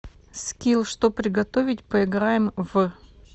скилл что приготовить поиграем в